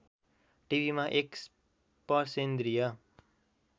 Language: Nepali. टिभिमा एक स्पर्शेन्द्रीय